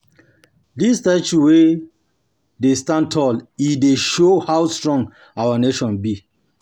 Dis statue dey stand tall, e dey show how strong our nation be.